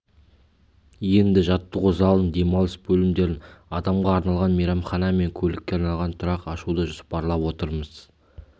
енді жаттығу залын демалыс бөлмелерін адамға арналған мейрамхана мен көлікке арналған тұрақ ашуды жоспарлап отырмыз